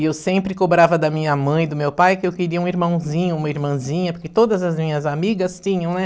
E eu sempre cobrava da minha mãe e do meu pai que eu queria um irmãozinho, uma irmãzinha, porque todas as minhas amigas tinham, né?